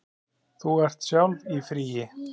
Þú ert sjálf í fríi.